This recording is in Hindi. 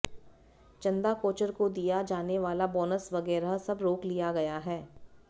चंदा कोचर को दिया जाने वाला बोनस वगैरह सब रोक लिया गया है